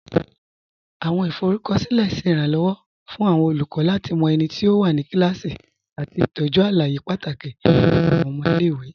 Awọn ifọrúkọsilẹ̀ ṣẹ́ iránlọwọ̀ fún awọn olùkọ̀ lati mọ ẹ̀niti ó wà ní kílásí àti tọ́jú alàyè pátákì nípa awọn ọmọ ilẹ̀-ìwé.